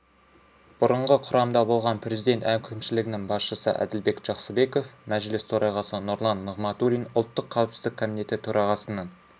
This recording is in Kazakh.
бұрынғы құрамда болған президент әкімшілігінің басшысы әділбек жақсыбеков мәжіліс төрағасы нұрлан нығматулин ұлттық қауіпсіздік комитеті төрағасының